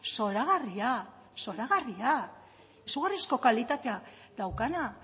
zoragarria zoragarria izugarrizko kalitatea daukana